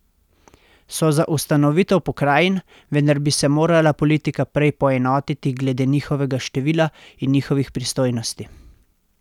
So za ustanovitev pokrajin, vendar bi se morala politika prej poenotiti glede njihovega števila in njihovih pristojnosti.